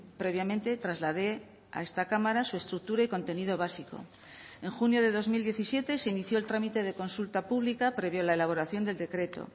previamente trasladé a esta cámara su estructura y contenido básico en junio de dos mil diecisiete se inició el trámite de consulta pública previo a la elaboración del decreto